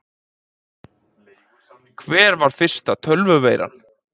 Hver var fyrsta tölvuveiran?